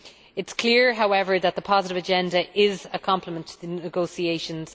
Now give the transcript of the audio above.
It is clear, however, that the positive agenda is a complement to the negotiations.